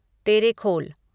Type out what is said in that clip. Terekhol